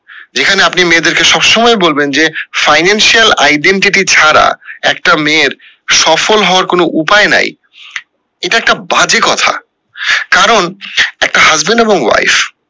যেখানে আপনি মেয়েদের কে সব সময় বলবেন যে financial identity ছাড়া একটা মেয়ের সফল হওয়ার কোনো উপায় নেই এটা একটা বাজে কথা একটা কারন husband এবং wife